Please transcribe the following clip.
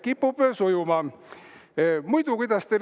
Kipub sujuma!